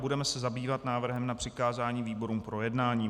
Budeme se zabývat návrhem na přikázání výborům k projednání.